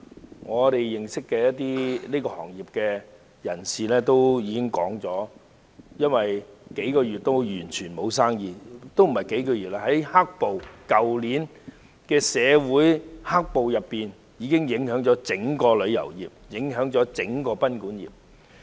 據我們所認識的業內人士表示，他們已有數月完全沒有生意——也不只是數月，而是去年社會出現的"黑暴"事件，已影響整個旅遊業及賓館業。